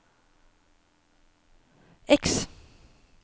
X